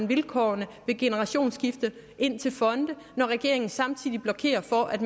vilkårene ved generationsskifte ind til fonde når regeringen samtidig blokerer for at